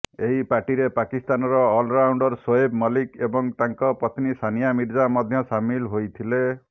ଏହି ପାର୍ଟିରେ ପାକିସ୍ତାନର ଅଲରାଉଣ୍ଡର ଶୋଏବ ମଲ୍ଲିକ ଏବଂ ତାଙ୍କ ପତ୍ନୀ ସାନିଆ ମିର୍ଜା ମଧ୍ୟ ସାମିଲ ହୋଇଥିଲେ